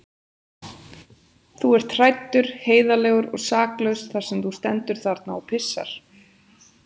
Þú ert hræddur, heiðarlegur og saklaus þar sem þú stendur þarna og pissar.